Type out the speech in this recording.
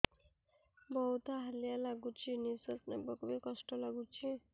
ବହୁତ୍ ହାଲିଆ ଲାଗୁଚି ନିଃଶ୍ବାସ ନେବାକୁ ଵି କଷ୍ଟ ଲାଗୁଚି